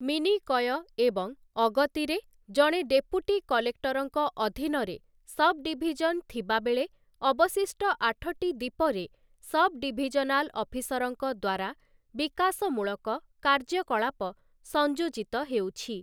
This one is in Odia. ମିନିକୟ ଏବଂ ଅଗତିରେ, ଜଣେ ଡେପୁଟି କଲେକ୍ଟରଙ୍କ ଅଧୀନରେ ସବ୍ ଡିଭିଜନ୍ ଥିବାବେଳେ ଅବଶିଷ୍ଟ ଆଠଟି ଦ୍ଵୀପରେ ସବ୍ ଡିଭିଜନାଲ ଅଫିସରଙ୍କ ଦ୍ଵାରା ବିକାଶମୂଳକ କାର୍ଯ୍ୟକଳାପ ସଂଯୋଜିତ ହେଉଛି ।